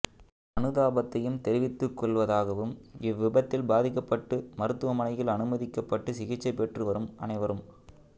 அனுதாபத்தையும் தெரிவித்துக் கொள்வ தாகவும் இவ்விபத்தில் பாதிக்கப்பட்டு மருத்துவமனையில் அனுமதிக்கப்பட்டு சிகிச்சை பெற்று வரும் அனைவரும்